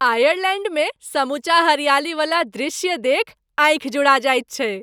आयरलैण्डमे समूचा हरियालीवला दृश्य देखि आँखि जुड़ा जाइत छैक।